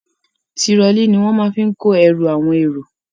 Tirọlí ní wọn má ń fí kó ẹrù àwọn èrò.